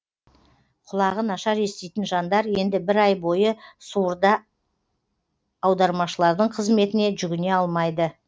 құлағы нашар еститін жандар енді бір ай бойы суырда аудармашылардың қызметіне жүгіне алмайды